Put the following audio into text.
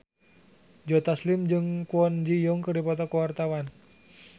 Joe Taslim jeung Kwon Ji Yong keur dipoto ku wartawan